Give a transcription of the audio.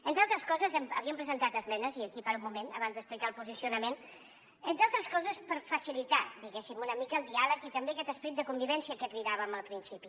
entre altres coses havíem presentat esmenes i aquí paro un moment abans d’explicar el posicionament entre altres coses per facilitar diguéssim una mica el diàleg i també aquest esperit de convivència a què cridàvem al principi